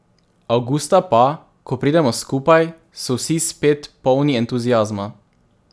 Avgusta pa, ko pridemo skupaj, so vsi spet polni entuziazma.